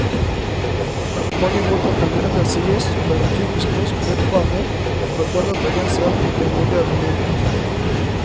På mange måter kan det heller sies å være en typisk norsk løpebane for en dannet bergenser i en moderne medietid.